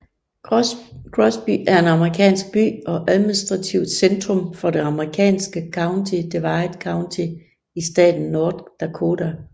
Crosby er en amerikansk by og administrativt centrum for det amerikanske county Divide County i staten North Dakota